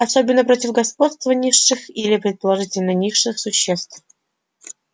особенно против господства низших или предположительно низших существ